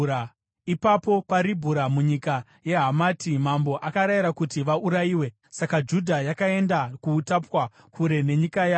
Ipapo paRibhura munyika yeHamati, mambo akarayira kuti vaurayiwe. Saka Judha yakaenda kuutapwa, kure nenyika yayo.